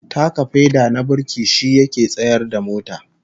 Taka feda na burki shi yake tsayar da mota